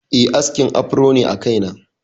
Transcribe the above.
Eh, askin afro ne a kaina.